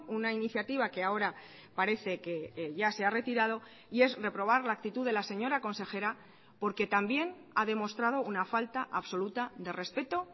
una iniciativa que ahora parece que ya se ha retirado y es reprobar la actitud de la señora consejera porque también ha demostrado una falta absoluta de respeto